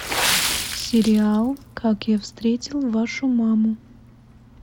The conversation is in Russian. сериал как я встретил вашу маму